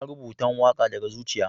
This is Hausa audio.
na rubatan waka daga zuciya.